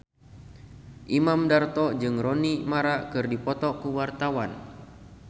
Imam Darto jeung Rooney Mara keur dipoto ku wartawan